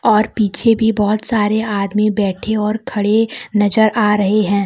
और पीछे भी बहुत सारे आदमी बैठे और खड़े नजर आ रहे है।